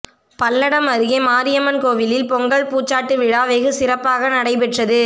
பல்லடம் அருகே மாரியம்மன் கோயிலில் பொங்கல் பூச்சாட்டு விழா வெகு சிறப்பாக நடைபெற்றது